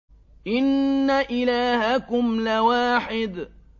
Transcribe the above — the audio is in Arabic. إِنَّ إِلَٰهَكُمْ لَوَاحِدٌ